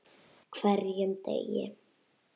HVERJUM DEGI!